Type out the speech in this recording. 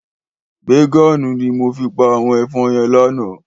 Bégòn ni mó fi pá áwòn èfòn yèn làná